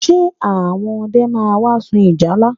Ṣe àwọn ọdẹ máa wá sun ìjálá?